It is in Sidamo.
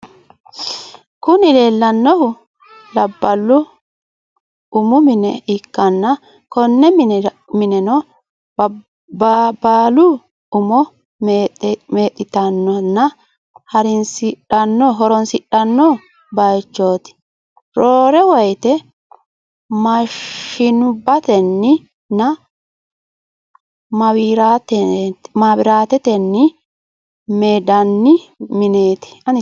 Kuni leellannohu labballu umu mine ikkanna konne mineno labballu umu meexxitannonna haransidhanno bayichot. roore woyite mashinubbatenni nna mawiratetenni meendanni mineti.